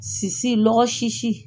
Sisi lɔgɔ sisi.